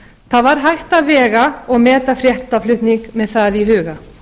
það var hægt að vega og meta fréttaflutning með það í huga